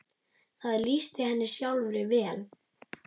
Það lýsti henni sjálfri vel.